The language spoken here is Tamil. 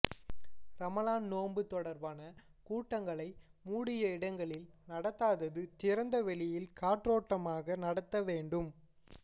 ரமலான் நோன்பு தொடர்பான கூட்டங்களை மூடிய இடங்களில் நடத்தாது திறந்த வெளியில் காற்றோட்டமாக நடத்தவேண்டும்